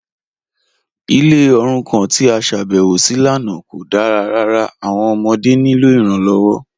Ilẹ̀ orúkàn tí a ṣábẹ̀wọ sí lánà kò dára ràrà, awọn ọmọdé ní ilọ iranlọwọ